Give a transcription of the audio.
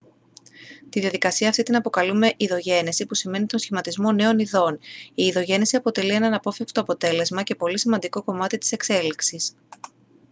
τη διαδικασία αυτή την αποκαλούμε ειδογένεση που σημαίνει τον σχηματισμό νέων ειδών η ειδογένεση αποτελεί ένα αναπόφευκτο αποτέλεσμα και πολύ σημαντικό κομμάτι της εξέλιξης